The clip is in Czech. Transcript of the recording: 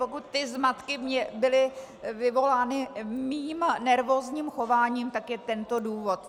Pokud ty zmatky byly vyvolány mým nervózním chováním, tak je tento důvod.